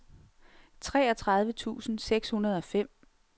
treogtredive tusind seks hundrede og fem